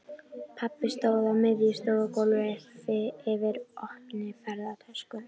Pabbi stóð á miðju stofugólfi yfir opinni ferðatösku.